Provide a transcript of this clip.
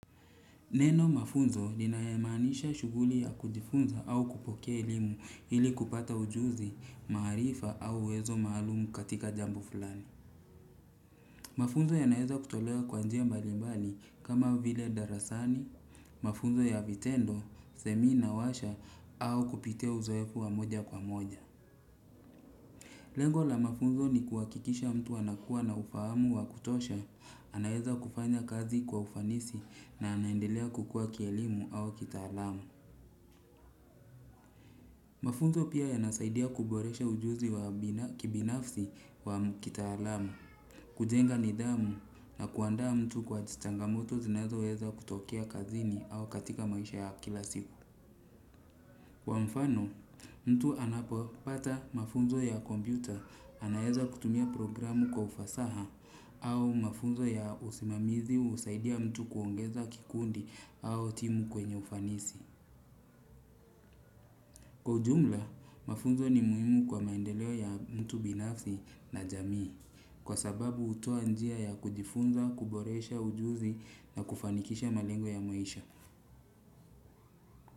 Neno mafunzo lina maanisha shughuli ya kujifunza au kupokea elimu ili kupata ujuzi, maarifa au uwezo maalumu katika jambo fulani. Mafunzo ya naeza kutolewa kwa njia mbalimbali kama vile darasani, mafunzo ya vitendo, semina washa au kupitea uzoefu wa moja kwa moja. Lengo la mafunzo ni kuhakikisha mtu anakua na ufahamu wa kutosha anaeza kufanya kazi kwa ufanisi na anaendelea kukua kielimu au kitaalam. Mafunzo pia yanasaidia kuboresha ujuzi wa kibinafsi kwa mkitaalam. Kujenga nidhamu na kuandaa mtu kwa changa moto zinazoweza kutokea kaziji au katika maisha ya kila siku kwa mfano mtu anapo pata mafunzo ya kompyuta anaeza kutumia programu kwa ufasaha au mafunzo ya usimamizi husaidia mtu kuongeza kikundi au timu kwenye ufanisi kwa ujumla mafunzo ni muhimu kwa maendeleo ya mtu binafsi na jamii kwa sababu hutoa njia ya kujifunza kuboresha ujuzi na kufanikisha malengo ya maisha.